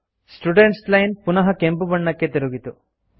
students line ಪುನಃ ಕೆಂಪುಬಣ್ಣಕ್ಕೆ ತಿರುಗಿತು